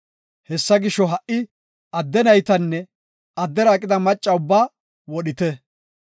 Hessa gisho, ha77i adde naytanne addera aqida maccas ubbaa wodhite.